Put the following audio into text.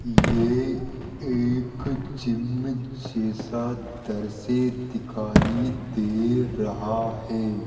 ये एक जिम जैसा दृश्य दिखाई दे रहा है।